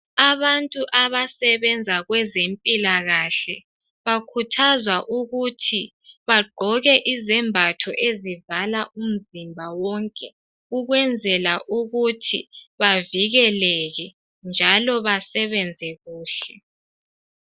Abantu abasebenza kwezempilakahle bakhuthazwa ukuthi bagqoke izembatho ezivala umzimba wonke ukwenzela ukuthi bavikeleke njalo basebenze kuhle